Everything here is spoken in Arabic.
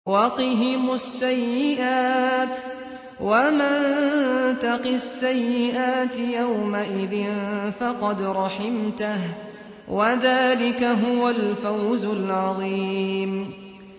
وَقِهِمُ السَّيِّئَاتِ ۚ وَمَن تَقِ السَّيِّئَاتِ يَوْمَئِذٍ فَقَدْ رَحِمْتَهُ ۚ وَذَٰلِكَ هُوَ الْفَوْزُ الْعَظِيمُ